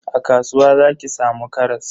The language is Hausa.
A kasuwa zaki samu karas.